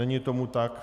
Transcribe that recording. Není tomu tak.